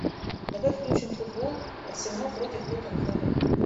давай включим футбол арсенал против тоттенхэма